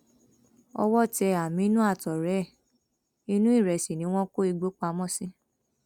owó tẹ àmínú àtọrẹ ẹ inú ìrẹsì ni wọn kó igbó pamọ sí